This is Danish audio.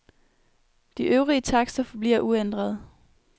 De øvrige takster forbliver uændrede.